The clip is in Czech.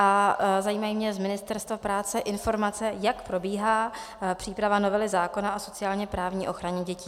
A zajímají mě z Ministerstva práce informace, jak probíhá příprava novely zákona o sociálně-právní ochraně dětí.